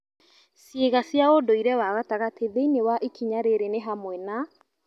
Ciĩga cia ũndũire wa gatagatĩ thĩinĩ wa ikinya rĩrĩ nĩ hamwe na